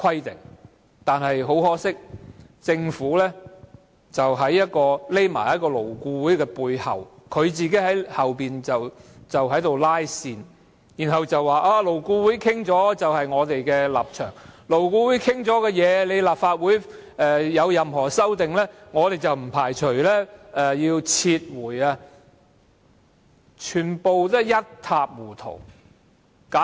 但是，很可惜，政府躲在勞顧會背後"拉線"，然後說勞顧會達成的共識便是政府的立場，如果立法會對勞顧會已達成共識的方案有任何修訂，政府便不排除撤回《條例草案》。